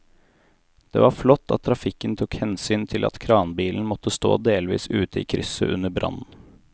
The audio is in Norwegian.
Det var flott at trafikken tok hensyn til at kranbilen måtte stå delvis ute i krysset under brannen.